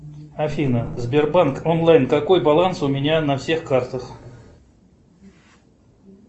афина сбербанк онлайн какой баланс у меня на всех картах